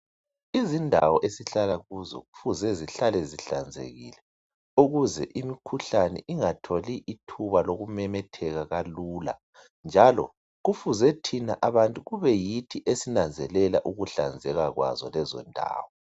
Izindawo esihlala kuzo kufuze zihlale zihlanzekile ukuze imikhuhlane ingatholi ithuba lokumemetheka kalula njalo kufuze thina abantu kube yithi esinanzelela ukuhlanzeka kwazo lezondawo.